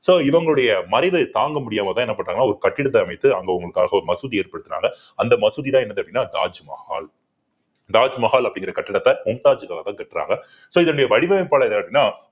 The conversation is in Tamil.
so இவங்களுடைய மறைவை தாங்க முடியாமதான் என்ன பண்றாங்கன்னா ஒரு கட்டிடத்தை அமைத்து அங்க உங்களுக்காக ஒரு மசூதி ஏற்படுத்துனாங்க அந்த மசூதிதான் என்னது அப்படின்னா, தாஜ்மஹால் தாஜ்மஹால் அப்படிங்கிற கட்டிடத்தை மும்தாஜ் காக கட்டுறாங்க so இதனுடைய வடிவைப்பைப்பள்ளர் யார்னா~